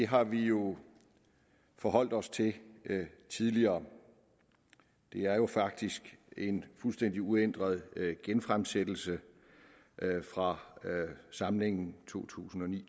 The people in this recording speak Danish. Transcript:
har vi jo forholdt os til tidligere det er faktisk en fuldstændig uændret genfremsættelse fra samlingen to tusind og ni